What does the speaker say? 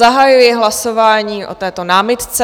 Zahajuji hlasování o této námitce.